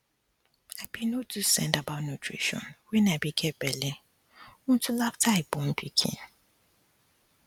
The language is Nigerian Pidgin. i be no too send about nutrition um when i be get belle until um after i born pikin